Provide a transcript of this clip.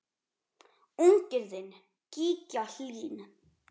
Unginn þinn, Gígja Hlín.